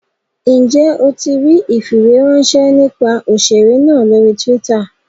Njẹ o tí ríi ifiweranṣẹ nípa òṣèré náà lórí twitter?